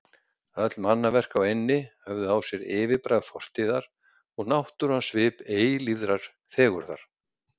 Öll mannaverk á eynni höfðu á sér yfirbragð fortíðar og náttúran svip eilífrar fegurðar.